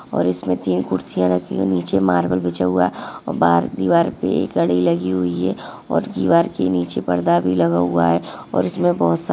और इसमे तीन कुर्सिया रखी हुई है। नीचे मार्बल बिछा हुआ है और बाहर दीवार पे एक घड़ी लगी हुई है और दीवार के नीचे परदा भी लगा हुआ है और इसमे बहुत सा--